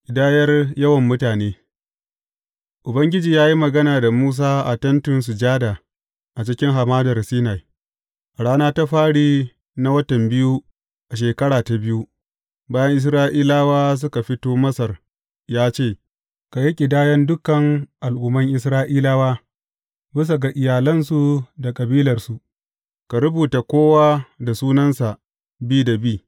Ƙidayar yawan mutane Ubangiji ya yi magana da Musa a Tentin Sujada a cikin Hamadar Sinai, a rana ta fari na watan biyu a shekara ta biyu, bayan Isra’ilawa suka fito Masar ya ce, Ka yi ƙidayan dukan al’umman Isra’ilawa bisa ga iyalansu da kabilarsu, ka rubuta kowa da sunansa bi da bi.